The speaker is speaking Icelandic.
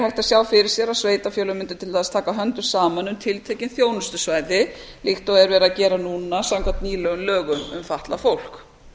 að sjá fyrir sér að sveitarfélög mundu til dæmis taka höndum saman um tiltekin þjónustusvæði líkt og er verið að gera núna samkvæmt nýlegum lögum um fatlað fólk